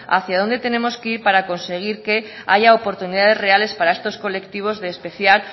hacia dónde tenemos que ir para conseguir que haya oportunidades reales para estos colectivos de especial